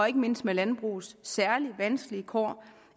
ikke mindst med landbrugets særlig vanskelige kår